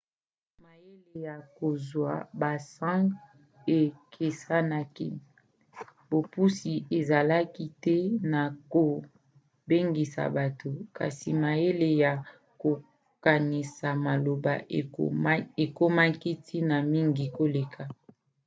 mayele ya kozwa basang ekesenaki. bopusi ezalaki te na kobengisa bato kasi mayele ya kokanisa maloba ekomaki ntina mingi koleka